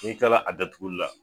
N'i kilala a datuguli la.